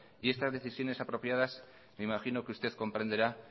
y estas decisiones apropiadas me imagino que usted comprenderá